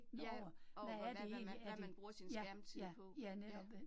Ja, over hvad hvad man bruger sin skærmtid på, ja